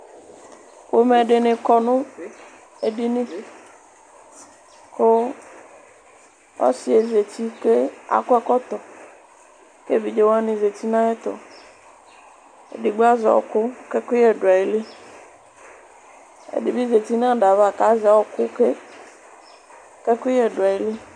Pomɛ dɩnɩ kɔ nʋ edini, kʋ ɔsɩ yɛ zǝti kʋ akɔ ɛkɔtɔ, kʋ evidze wani zǝti nʋ ayɛtʋ Edigbo azɛ ɔɔkʋ kʋ ɛkʋyɛ du ayili Ɛdɩ bɩ zǝti nʋ ada yɛ ava kʋ azɛ ɔɔkʋ ke, kʋ ɛkʋyɛ du ayili